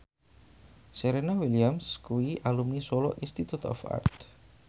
Serena Williams kuwi alumni Solo Institute of Art